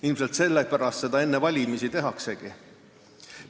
Ilmselt sellepärast seda enne valimisi tehaksegi.